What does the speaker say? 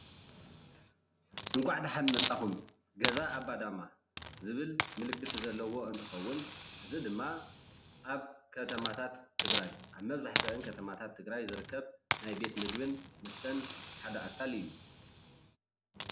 እንኳዕ ደሓን መፃኩም ገዛ ኣባዳማ ዝብል ምልክት ዘለዎ እንትከውን እዚ ድማ ኣብ ከተማታት ትግራይ ኣብ መብዛሕትአን ከተማታት ትግራይ ዝርከብ ናይ ቤት ምግብን መስተን ሓደ ኣካል እዩ፡፡